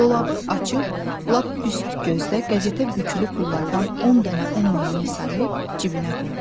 Dolabı açıb lap üst gözdə qəzetə bükülü pullardan 10 dənə 10 minlik sayıb cibinə qoydu.